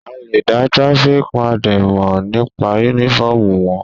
A lè dá traffic warden mọ̀ nípa uniform wọn.